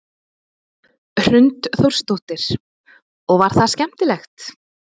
Hrund Þórsdóttir: Og var það skemmtilegt?